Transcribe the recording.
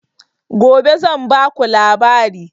Gobe zan ba ku labari